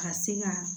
A ka se ka